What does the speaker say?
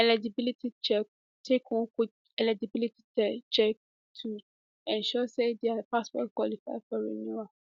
eligibility check take one quick eligibility test to ensure say dia passport qualify for renewal